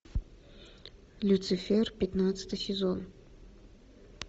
люцифер пятнадцатый сезон